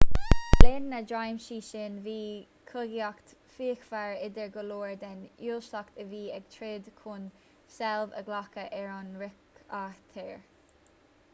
le linn na dtréimhsí sin bhíodh cogaíocht fhíochmhar idir go leor den uaisleacht a bhí ag troid chun seilbh a ghlacadh ar an ríchathaoir